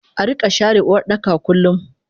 Arika share Uwardaka kullum